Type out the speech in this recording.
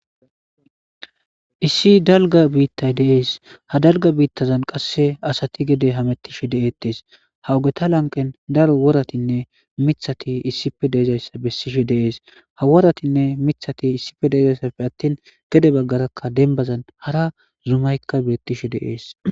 Issi dalga biittay deees ha dalga biittazan qasse asati gede hamettishe de'eettes hawugeta lanqen daro woratinne mithati issife deezayssa bessishe deees ha woratinne mithati issife deezayssappe attin gede baggarakka denbazan hara zumaykka birettishe deees.